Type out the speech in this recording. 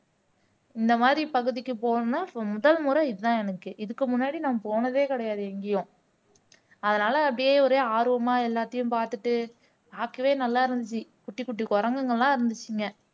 இந்த மாதிரி பகுதிக்கு போகணும்னா so முதல் முறை இதுதான் எனக்கு இதுக்கு முன்னாடி நான் போனதே கிடையாது எங்கயும் அதனால அப்படியே ஒரே ஆர்வமா எல்லாத்தையும் பார்த்துட்டு பாக்கவே நல்லா இருந்துச்சு குட்டி குட்டி குரங்குங்களாம் இருந்துச்சுங்க